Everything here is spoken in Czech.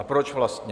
A proč vlastně?